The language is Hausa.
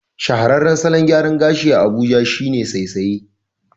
Shahararran salon gyaran gashi a Abuja shine saisaye